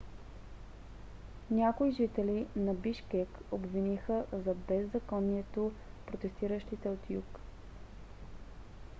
някои жители на бишкек обвиниха за беззаконието протестиращите от юг